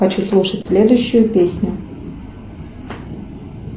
хочу слушать следующую песню